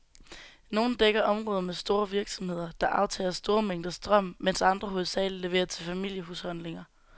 Nogle dækker områder med store virksomheder, der aftager store mængder strøm, mens andre hovedsageligt leverer til familiehusholdninger.